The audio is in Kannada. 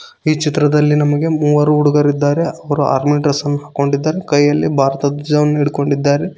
ಈ ಚಿತ್ರದಲ್ಲಿ ನಮಗೆ ಮೂವರು ಹುಡುಗರಿದ್ದಾರೆ ಅವರು ಆರ್ಮಿ ಡ್ರೆಸ್ ಅನ್ನು ಹಾಕೊಂಡಿದ್ದಾರೆ ಹಾಗೂ ಕೈಯಲ್ಲಿ ಭಾರತದ ಧ್ವಜ ಹಿಡಿದುಕೊಂಡಿದ್ದಾರೆ.